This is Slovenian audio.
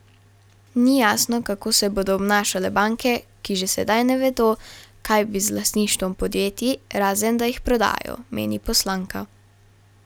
Ni jasno, kako se bodo obnašale banke, ki že sedaj ne vedo, kaj bi z lastništvom podjetij, razen da jih prodajo, meni poslanka.